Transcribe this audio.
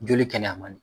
Joli kɛnɛya man di